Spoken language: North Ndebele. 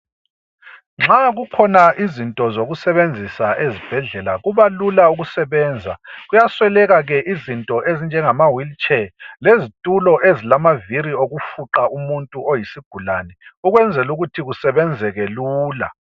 Nxa kukhona izinto zokusebenzisa ezibhedlela kubalula ukusebenza. Kuyasweleka ke izinto ezinjengamawheeel chair lezitulo ezilamaviri okufuqa umuntu oyisigulane ukwenzelu kuthi kusebenzeke lula.